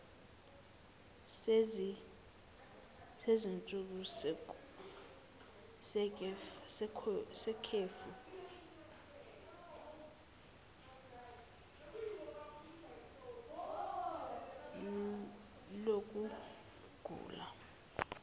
sezinsuku zekhefu lokugula